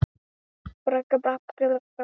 Þú varst ekki enn orðin yndisleg þá.